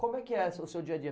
Como é que é seu seu dia a dia?